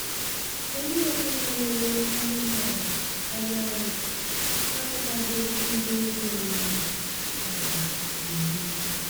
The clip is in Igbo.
Onye ọbụla rere anụmanụ anyarị na-agwaghị ndị eze mmụọ dara iwu